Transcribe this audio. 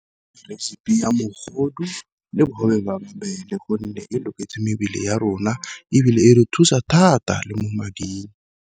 Recipe ya mogodu le bogobe jwa mabele gonne e loketse mebele ya rona, ebile e re thusa thata le mo mading.